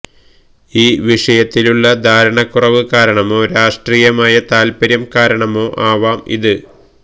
ഈ വിഷയത്തിലുള്ള ധാരണക്കുറവ് കാരണമോ രാഷ്ട്രീയമായ താൽപ്പര്യം കാരണമോ ആവാം ഇത്